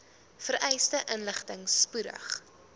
vereiste inligting spoedig